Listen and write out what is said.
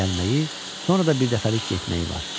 Gəlməyi, sonra da birdəfəlik getməyi var.